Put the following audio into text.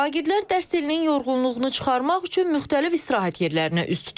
Şagirdlər dərs ilinin yorğunluğunu çıxarmaq üçün müxtəlif istirahət yerlərinə üz tutublar.